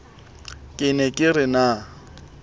ke ne ke re na